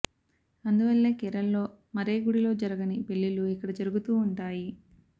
అందువల్లే కేరళలో మరే గుడిలో జరగని పెళ్లిళ్లు ఇక్కడ జరుగుతూ ఉంటాయి